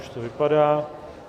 Už to vypadá.